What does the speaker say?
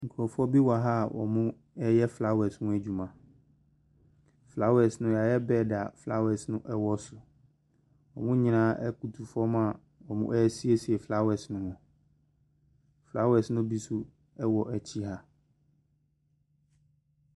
Nkurɔfoɔ bi wɔ ha a wɔreyɛ flowers ho adwuma, flowers no yɛayɛ bed a flowers no wɔ so. Wɔn nyinaa butu famu a wɔresiesie flowers no. Flowers ne bi nso wɔ akyi ha.